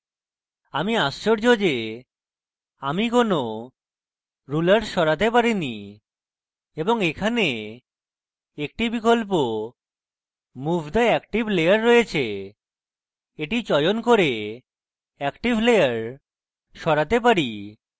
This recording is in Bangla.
আমি আশ্চর্য যে আমি কেনো ruler সরাতে পারিনি এবং এখানে active বিকল্প move the active layer রয়েছে এটি চয়ন করে active layer সরাতে পারি